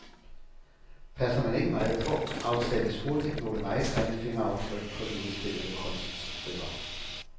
Passer man ikke meget på, afsættes hurtigt nogle meget grimme fingeraftryk på de udstillede kunststykker.